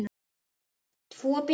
Tvo bíla?